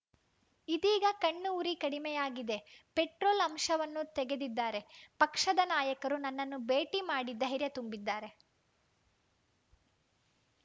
ಇದೀಗ ಕಣ್ಣು ಉರಿ ಕಡಿಮೆಯಾಗಿದೆ ಪೆಟ್ರೋಲ್‌ ಅಂಶವನ್ನು ತೆಗೆದಿದ್ದಾರೆ ಪಕ್ಷದ ನಾಯಕರು ನನ್ನನ್ನು ಭೇಟಿ ಮಾಡಿ ಧೈರ್ಯ ತುಂಬಿದ್ದಾರೆ